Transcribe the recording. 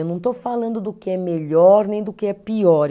Eu não estou falando do que é melhor nem do que é pior.